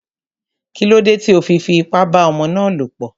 Kílódé tí o fi fi ipá bá ọmọ ná lọ̀ pọ̀?